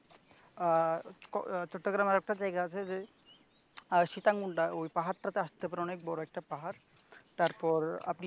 চট্টগ্রামের একটা জায়গা আছে যে সিতাকুন্ডা ওই পাহাড়টাকে আসতে পারেন ওই পাহাড় টা অনেক বড় পাহাড় তারপর